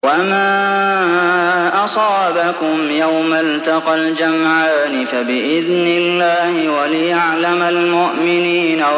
وَمَا أَصَابَكُمْ يَوْمَ الْتَقَى الْجَمْعَانِ فَبِإِذْنِ اللَّهِ وَلِيَعْلَمَ الْمُؤْمِنِينَ